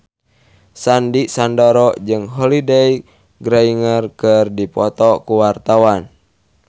Sandy Sandoro jeung Holliday Grainger keur dipoto ku wartawan